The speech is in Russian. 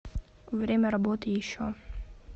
время работы еще